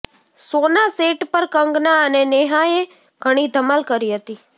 શોના સેટ પર કંગના અને નેહાએ ઘણી ધમાલ કરી હતી